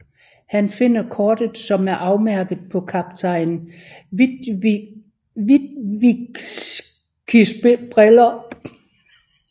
Han finder kortet som er afmærket på Kaptajn Witwickys briller